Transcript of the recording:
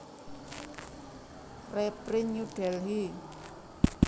Reprint New Delhi